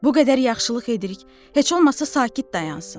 Bu qədər yaxşılıq edirik, heç olmasa sakit dayansın.